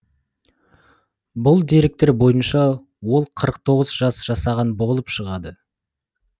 бұл деректер бойынша да ол қырық тоғыз жас жасаған болып шығады